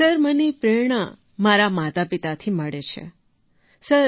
sir મને પ્રેરણા મારાં માતાપિતાથી મળે છે સર